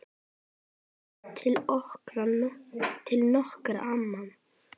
Vísi til nokkurs ama.